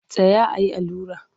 Tsaya a yi allura!